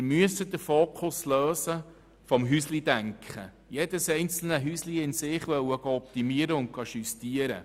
Wir müssen den Fokus vom Häuschendenken lösen, wo jedes einzelne Häuschen in sich optimiert und justiert wird.